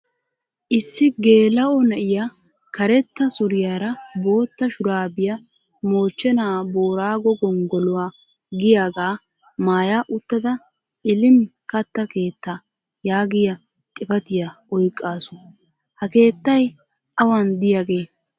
Issi geela'o na'iya karetta suriyaara bootta shuraabiya moochchenaa booraago gongoluwa giyagaa maaya uttada ilim katta keettaa yaagiya xifatiyaa oyqqasu. Ha keettay awan diyagee?